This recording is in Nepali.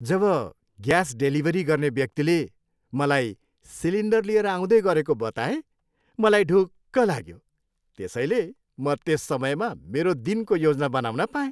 जब ग्यास डेलिभरी गर्ने व्यक्तिले मलाई सिलिन्डर लिएर आउँदै गरेको बताए मलाई ढुक्क लाग्यो, त्यसैले म त्यस समयमा मेरो दिनको योजना बनाउन पाएँ।